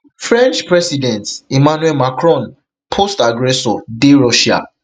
french president emmanuel macron post aggressor dey russia